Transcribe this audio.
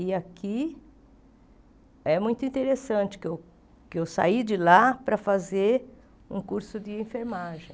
E aqui é muito interessante que eu que eu saí de lá para fazer um curso de enfermagem.